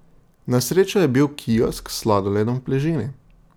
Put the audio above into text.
Na srečo je bil kiosk s sladoledom v bližini.